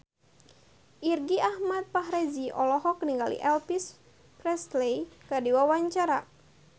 Irgi Ahmad Fahrezi olohok ningali Elvis Presley keur diwawancara